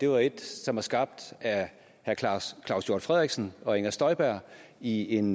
var et som var skabt af herre claus claus hjort frederiksen og fru inger støjberg i en